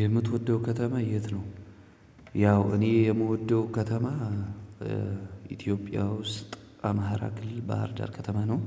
የምትወደው ከተማ የት ነው? ያው እኔ የምወደው ከተማ ኢትዮጵያ ውስጥ አማራ ክልል ባህር ዳር ከተማ ነው።